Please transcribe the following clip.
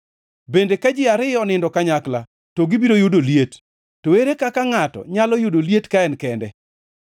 Bende, ka ji ariyo onindo kanyakla, to gibiro yudo liet. To ere kaka ngʼato nyalo yudo liet ka en kende?